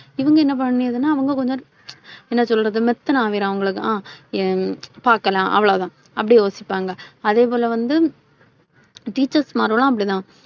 இவங்க என்ன பண்ணிருதுன்னா? அவங்க கொஞ்சம், என்ன சொல்றது? மெத்தனம் ஆகிரும் அவிங்களுக்கு அஹ் பார்க்கலாம் அவ்வளவுதான். அப்படி யோசிப்பாங்க. அதே போல வந்து teachers மார்களும் அப்படிதான்,